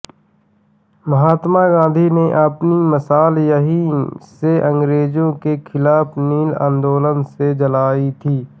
महात्मा गाँधी ने अपनी मशाल यहीं से अंग्रेजों के खिलाफ नील आंदोलन से जलायी थी